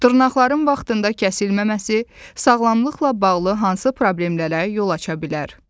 Dırnaqların vaxtında kəsilməməsi sağlamlıqla bağlı hansı problemlərə yol aça bilər?